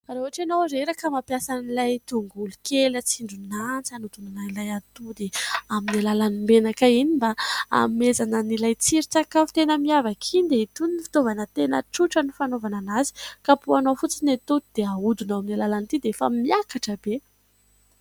Raha ohatra ianao reraka mampiasa an'ilay tongolo kely atsindrona antsy, hanodinana an'ilay atody amin'ny alalan'ny menaka iny mba hanomezana an'ilay tsiron-tsakafo tena miavaka iny, dia itony no fitaovana tena tsotra ny fanaovana an'azy : kapohina ao fotsiny ny atody, dia ahodina amin'ny alalan'ity dia efa miakatra be.